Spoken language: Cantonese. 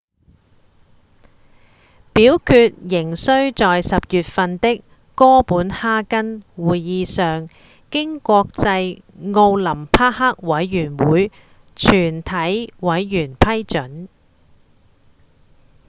表決仍需在10月份的哥本哈根會議上經國際奧林匹克委員會全體委員批准